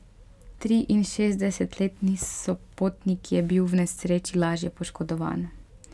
Triinšestdesetletni sopotnik je bil v nesreči lažje poškodovan.